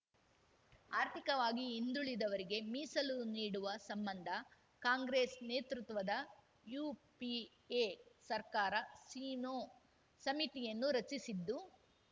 ಆರ್ಥಿಕವಾಗಿ ಹಿಂದುಳಿದವರಿಗೆ ಮೀಸಲು ನೀಡುವ ಸಂಬಂಧ ಕಾಂಗ್ರೆಸ್‌ ನೇತೃತ್ವದ ಯುಪಿಎ ಸರ್ಕಾರ ಸಿನ್ಹೋ ಸಮಿತಿಯನ್ನು ರಚಿಸಿದ್ದು